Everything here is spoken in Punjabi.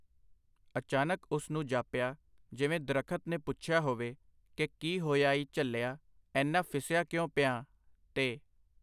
ਅਚਾਨਕ ਉਸਨੂੰ ਜਾਪਿਆ , ਜਿਵੇਂ ਦਰਖ਼ਤ ਨੇ ਪੁੱਛਿਆ ਹੋਵੇ ,ਕਿ ਕੀ ਹੋਇਆ ਈ ਝੱਲਿਆ, ਏਨਾ ਫਿੱਸਿਆ ਕਿਉਂ ਪਿਆਂ ? ਤੇ.